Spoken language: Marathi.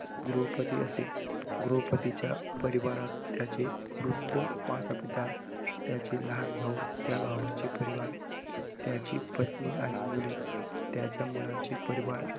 गृहपती असे, गृहपतीच्या परिवारात त्याचे वृद्ध माता, पिता त्याचे लहान भाऊ त्या भावाचे परिवार, त्याची पत्नी आणि मुले, त्याच्या मुलांचे परिवार असे